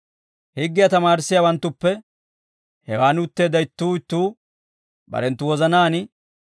Higgiyaa tamaarissiyaawanttuppe hewaan utteedda ittuu ittuu barenttu wozanaan,